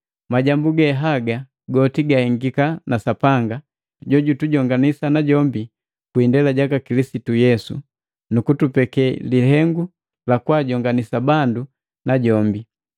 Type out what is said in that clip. Majambu ge haga goti gahengika na Sapanga, jojutujonganisa najombi kwi indela jaka Kilisitu Yesu, nu kutupeke lihengu lakwaajonganisa bandu najombi.